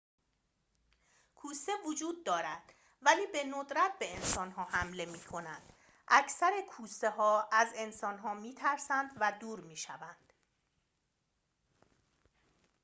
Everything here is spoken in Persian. کوسه وجود دارد ولی به‌ندرت به انسان‌ها حمله می‌کنند اکثر کوسه‌ها از انسان‌ها می‌ترسد و دور می‌شوند